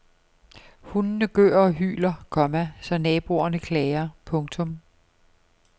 Hundene gør og hyler, komma så naboerne klager. punktum